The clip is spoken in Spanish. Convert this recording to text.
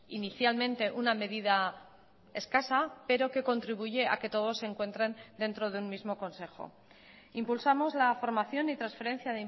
inicialmente una medida escasa pero que contribuye a que todos se encuentren dentro de un mismo consejo impulsamos la formación y transferencia